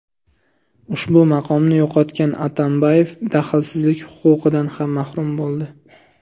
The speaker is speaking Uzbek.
Ushbu maqomni yo‘qotgan Atambayev daxlsizlik huquqidan ham mahrum bo‘ldi.